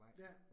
Ja